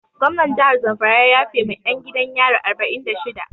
Gomnan jahar zamfara ya yafe ma 'yan gidan yari arba'in da shida.